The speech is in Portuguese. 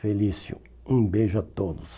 Felício, um beijo a todos.